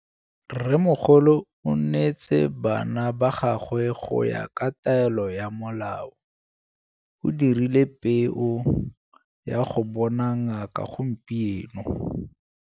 Rrêmmogolo o neetse bana ba gagwe go ya ka taêlô ya molaô. O dirile peô ya go bona ngaka gompieno.